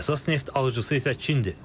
Əsas neft alıcısı isə Çindir.